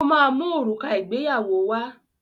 Ó máa mu òrùka ìgbéyàwó wá.